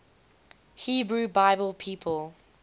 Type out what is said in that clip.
hebrew bible people